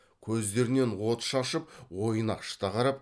көздерінен от шашып ойнақшыта қарап